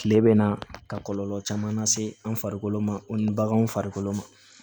Kile bɛ na ka kɔlɔlɔ caman lase an farikolo ma o ni baganw farikolo ma